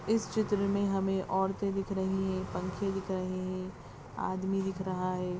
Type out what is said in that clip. इस चित्र में हमें औरते दिख रही है पंखे दिख रहे हैं आदमी दिख रहा है।